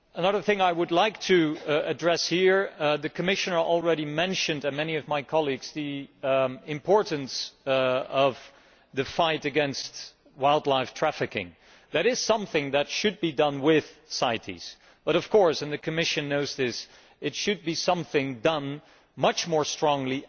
Another thing I would like to address here and the Commissioner has already mentioned it, as have many of my colleagues is the importance of the fight against wildlife trafficking. That is something that should be done with CITES but of course, and the Commission knows this, this is something that should also be done much more strongly